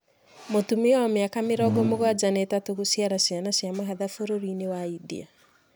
Mũtumia wa mĩaka mĩrongo mũgwanja na itatũ gũciara ciana cia mahatha bũrũri-inĩ wa India